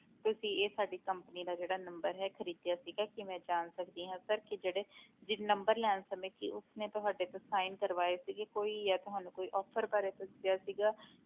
ਤੁਸੀਂ ਇਹ ਸਾਡੀ company ਦਾ ਜਿਹੜਾ number ਹੈ ਖ਼ਰੀਦਿਆ ਸੀਗਾ ਕੀ ਮੈਂ ਜਾਣ ਸਕਦੀ ਹਾਂ sir ਕਿ ਜਿਹੜੇ ਜੀ number ਲੈਣ ਸਮੇਂ ਕੀ ਉਸਨੇ ਤੁਹਾਡੇ ਤੋਂ sign ਕਰਵਾਏ ਸੀਗੇ ਕੋਈ ਜਾਂ ਤੁਹਾਨੂੰ ਕੋਈ offer ਬਾਰੇ ਦੱਸਿਆ ਸੀਗਾ